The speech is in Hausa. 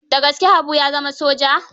Da gaske Habu ya zama soja?